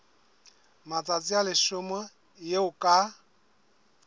matsatsi a leshome eo ka